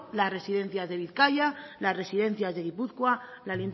las residencias de bizkaia las residencias de gipuzkoa la